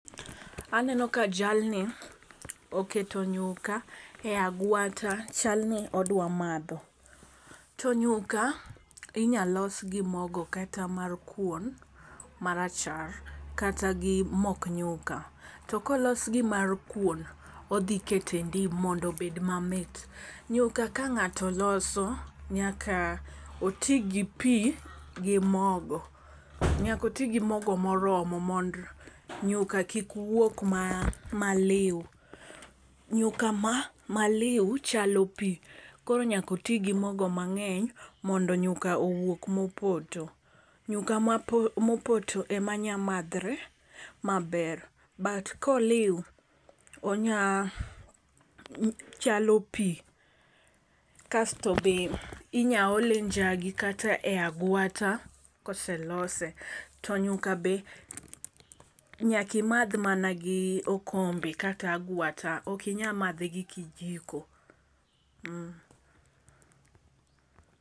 Aneno ka jalni oketo nyuka e agwata chal ni odwa madho. To nyuka inya los gi mogo kata mar kuon marachar kata gi mok nyuka to kolos gi mar kuon odhi kete ndim mondo obed mamit. Nyuka ka ng'ato loso, nyaka otii gi pii gi mogo. Nyako oti gi mogo moromo mondo nyuka kik wuog maliw . Nyuka maliw chalo pii koro nyako tii gi mogo mangeny mondo nyuka owuog mopoto. Nyuka mapoto mopoto ema nya madhre maber but koliw onya chalo pii kasto be inya ole njagi kata e agwata koselose to nyuka be nyaki madh mana gi okombe kata agwata, ok inya madhe gi kijiko